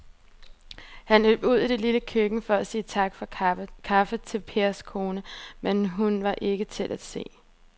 Han løb ud i det lille køkken for at sige tak for kaffe til Pers kone, men hun var ikke til at se.